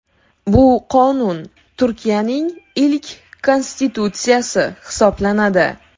Bu qonun Turkiayning ilk konstitutsiyasi hisoblanadi.